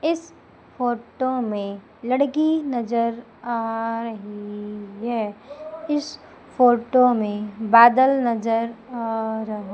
इस फोटो में लड़की नजर आ रही है इस फोटो में बादल नजर आ रहा --